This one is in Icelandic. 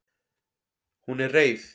Hún er reið.